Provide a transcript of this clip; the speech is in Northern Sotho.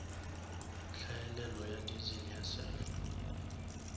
hlaelelo ya diesel ya sulphur